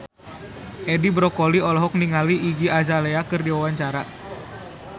Edi Brokoli olohok ningali Iggy Azalea keur diwawancara